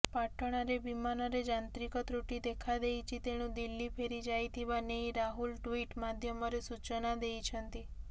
ପାଟଣାରେ ବିମାନରେ ଯାନ୍ତ୍ରିକ ତ୍ରୁଟି ଦେଖାଦେଇଛି ତେଣୁ ଦିଲ୍ଲୀ ଫେରିଯାଇଥିବା ନେଇ ରାହୁଲ ଟ୍ୱିଟ ମାଧ୍ୟମରେ ସୂଚନା ଦେଇଛନ୍ତି